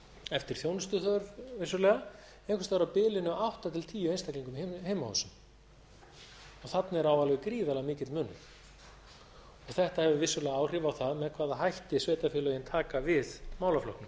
eftir þjónustuþörf vissulega einhvers staðar á bilinu átta til tíu einstaklingum í heimahúsum og þarna er á alveg gríðarlega mikill munur þetta hefur vissulega áhrif á það með hvaða hætti sveitarfélögin taka við málaflokknum